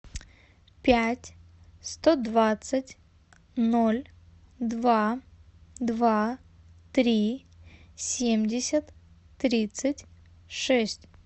пять сто двадцать ноль два два три семьдесят тридцать шесть